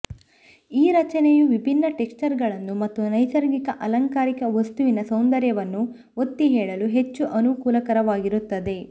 ಈ ರಚನೆಯು ವಿಭಿನ್ನ ಟೆಕಶ್ಚರ್ಗಳನ್ನು ಮತ್ತು ನೈಸರ್ಗಿಕ ಅಲಂಕಾರಿಕ ವಸ್ತುವಿನ ಸೌಂದರ್ಯವನ್ನು ಒತ್ತಿಹೇಳಲು ಹೆಚ್ಚು ಅನುಕೂಲಕರವಾಗಿರುತ್ತದೆ